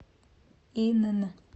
инн